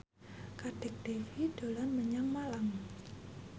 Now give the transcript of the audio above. Kadek Devi dolan menyang Malang